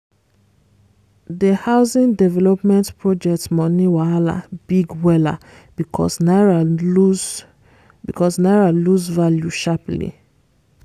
di housing development project money wahala big wella because naira lose because naira lose value sharply